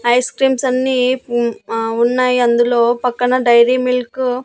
Ice creams అన్నీ ఉమ్ ఆ ఉన్నాయి అందులో పక్కన డైరీమిల్క్ .